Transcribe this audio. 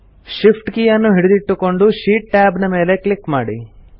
Shift key ಯನ್ನು ಹಿಡಿದಿಟ್ಟುಕೊಂಡು sheet tab ನ ಮೇಲೆ ಕ್ಲಿಕ್ ಮಾಡಿ